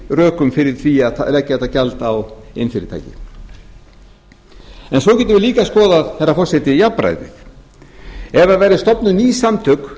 rökum fyrir því að leggja þetta gjald á iðnfyrirtæki svo getum við líka skoðað herra forseti jafnræðið ef það væru stofnuð ný samtök